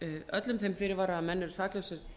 öllum þeim fyrirvara að menn eru saklausir